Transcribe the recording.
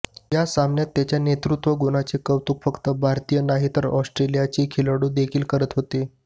या सामन्यात त्याच्या नेतृत्वगुणाचे कौतुक फक्त भारतीय नाही तर ऑस्ट्रेलियाचे खेळाडू देखील करत होते